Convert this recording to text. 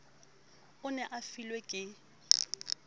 o ne a mofilwe ke